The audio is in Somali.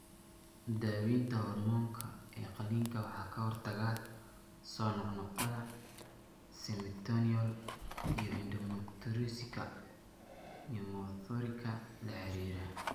Daaweynta hoormoonka ee qalliinka waxay ka hortagtaa soo noqnoqda catamenial iyo endometriosika pneumothorika la xiriira.